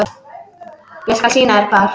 Ég skal sýna þér hvar.